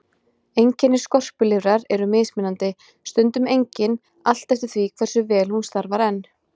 Einkenni skorpulifrar eru mismunandi, stundum engin, allt eftir því hversu vel hún starfar enn.